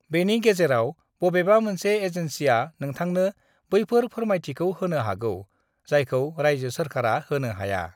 बेनि गेजेराव बबेबा मोनसे एजेन्सिआ नोंथांनो बैफोर फोरमायथिखौ होनो हागौ, जायखौ रायजो सोरखारा होनो हाया।